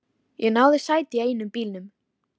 Stundum hrökk þetta til og lífið kom á ný.